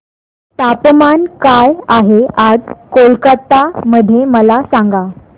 तापमान काय आहे आज कोलकाता मध्ये मला सांगा